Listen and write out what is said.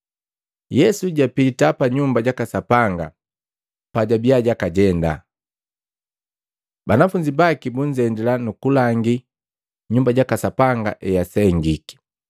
Yesu japita pa Nyumba jaka Sapanga, pajabiya jakajenda, banafunzi baki bunzendila, nukulangi Nyumba jaka Sapanga easengiki.